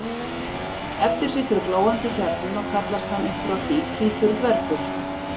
Eftir situr glóandi kjarninn og kallast hann upp frá því hvítur dvergur.